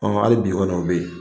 hali bi kɔni o bɛ yen